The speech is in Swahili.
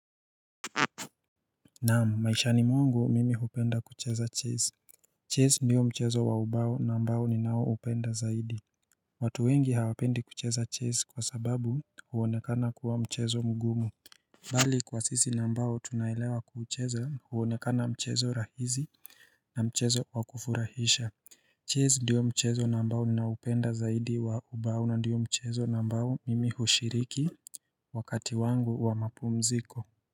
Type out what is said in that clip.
Naam maishani mwangu mimi hupenda kucheza Chess Chess ndiyo mchezo wa ubao ambao ni nao upenda zaidi watu wengi hawapendi kucheza Chess kwa sababu huonekana kuwa mchezo mgumu Bali kwa sisi nambao tunaelewa kucheza huonekana mchezo rahizi na mchezo wakufurahisha Chess ndiyo mchezo nambao ni nao upenda zaidi wa ubao na ndiyo mchezo nambao mimi hushiriki Wakati wangu wa mapu mziko.